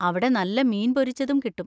അവിടെ നല്ല മീൻ പൊരിച്ചതും കിട്ടും.